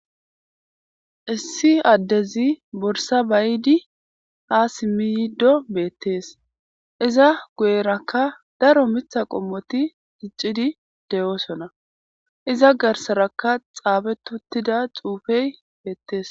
issi addezi borsa bayidi ha simiydo beettees iza guyerakka daro mitha qommoti diccidi de7oosona iza garsarakka xaabetuttida xuufey beettees